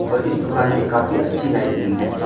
और इस दुकान पे काफी अच्छी लाइटीनिंग है।